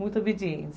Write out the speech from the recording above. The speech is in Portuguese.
Muito obediente.